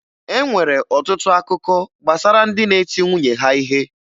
E nwere ọtụtụ akụkọ gbasara ndị di na-eti nwunye ha ihe.